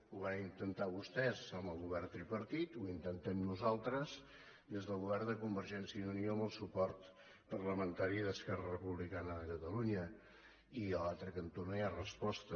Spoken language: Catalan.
ho varen intentar vostès amb el govern tripartit ho intentem nosaltres des del govern de convergència i unió amb el suport parlamentari d’esquerra republicana de catalunya i a l’altre cantó no hi ha resposta